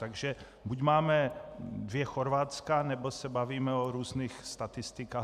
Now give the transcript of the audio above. Takže buď máme dvě Chorvatska, nebo se bavíme o různých statistikách.